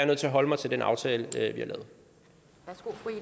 nødt til at holde mig til den aftale vi